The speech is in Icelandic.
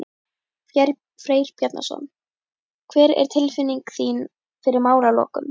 Freyr Bjarnason: Hver er tilfinning þín fyrir málalokum?